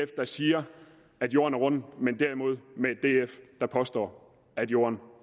der siger at jorden er rund men derimod med et df der påstår at jorden